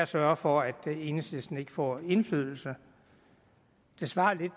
sørge for at enhedslisten ikke får indflydelse det svarer